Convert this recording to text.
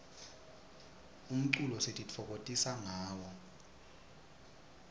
umculo sititfokokotisa ngawo